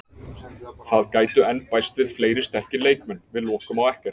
Það gætu enn bæst við fleiri sterkir leikmenn, við lokum á ekkert.